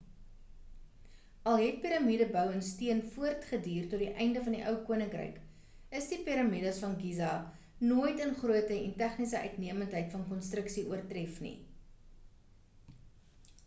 al het piramiede-bou in steen voort geduur tot die einde van die ou koninkryk is die piramides van giza nooit in grootte en tegniese uitnemendheid van konstruksie oortref nie